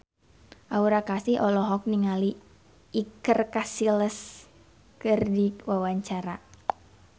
Aura Kasih olohok ningali Iker Casillas keur diwawancara